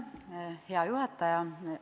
Hea juhataja!